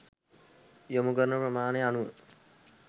යොමු කරන ප්‍රමාණය අනුව